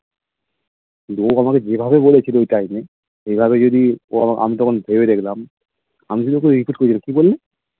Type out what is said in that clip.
কিন্তু ও আমাকে যেভাবে বলেছিল ঐ time এ এভাবে যদি ও আমি তখন ভেবে দেখলাম আমি শুধু ওকে request করেছিলাম কি বললি